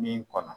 Min kɔnɔ